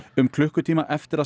um klukkutíma eftir að